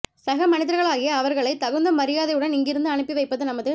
சக மனிதர்களாகிய அவர்களைத் தகுந்த மரியாதையுடன் இங்கிருந்து அனுப்பி வைப்பது நமது